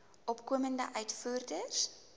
opkomende uitvoerders